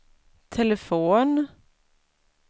telefon